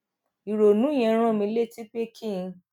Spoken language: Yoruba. ìrònú yẹn rán mi létí pé kí n